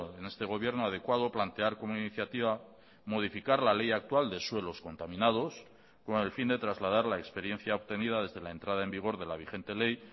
en este gobierno adecuado plantear como iniciativa modificar la ley actual de suelos contaminados con el fin de trasladar la experiencia obtenida desde la entrada en vigor de la vigente ley